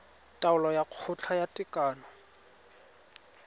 taolo ya kgotla ya tekano